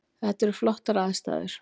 Þetta eru flottar aðstæður